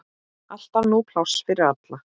Alltaf nóg pláss fyrir alla.